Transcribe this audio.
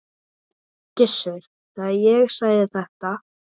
Gissur, þegar ég sagði þetta.